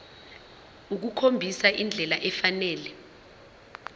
ukukhombisa indlela efanele